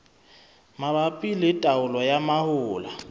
mabapi le taolo ya mahola